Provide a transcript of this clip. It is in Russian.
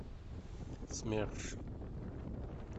смерш